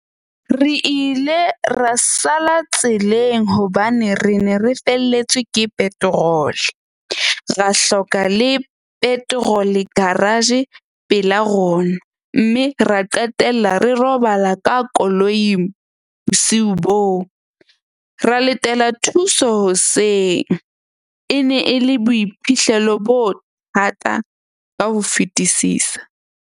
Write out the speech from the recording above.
Re ile ra sala tseleng hobane re ne re felletswe ke petrol. Ra hloka le petrol-e garage pela rona. Mme ra qetella re robala ka koloing bosiu bo, ra letela thuso hoseng e ne e le boiphihlelo bo thata ka ho fetisisa.